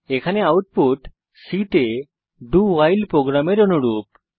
এখানে output C তে doভাইল প্রোগ্রামের অনুরূপ